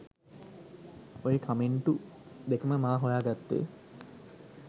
ඔය කමෙන්ටු දෙකම මා හොයා ගත්තේ